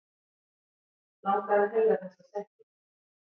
Langar að heyra þessa setningu.